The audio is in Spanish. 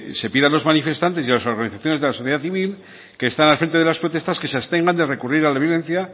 se pida a los manifestantes y a las organizaciones de la sociedad civil que están al frente de las protestas que se abstengan de recurrir a la violencia